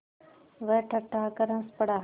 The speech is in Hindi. वह ठठाकर हँस पड़ा